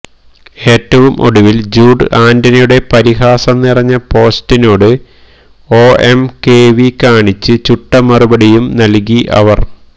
ഏറ്റവും ഒടുവിൽ ജൂഡ് ആന്റണിയുടെ പരിഹാസം നിരഞ്ഞ പോസ്റ്റിനോട് ഒഎംകെവി കാണിച്ച് ചുട്ട മറുപടിയും നൽകി അവർ